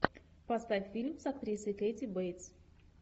поставь фильм с актрисой кэти бейтс